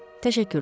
Təşəkkürlər.